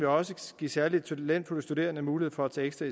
også give særlig talentfulde studerende mulighed for at tage ekstra